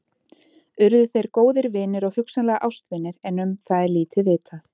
Urðu þeir góðir vinir og hugsanlega ástvinir en um það er lítið vitað.